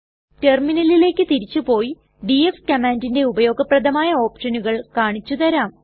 റ്റെർമിനലിലെക് തിരിച്ചു പോയി ഡിഎഫ് കമ്മാൻണ്ടിന്റെ ഉപയോഗപ്രദമായ ഓപ്ഷനുകൾ കാണിച്ചു തരാം